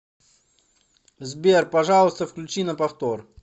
сбер пожалуйста включи на повтор